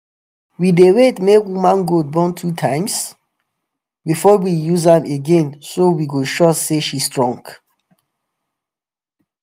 we dey wait make woman goat born two times before we use am again so we go sure say she strong.